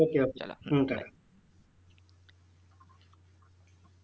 Okey okay চলো hmm bye